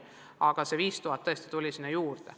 Aga see 5000 tuli tõesti sinna juurde.